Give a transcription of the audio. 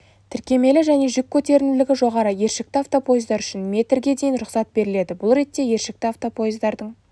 тіркемелі және жүк көтерімділігі жоғары ершікті автопоездар үшін метрге дейін рұқсат беріледі бұл ретте ершікті автопоездардың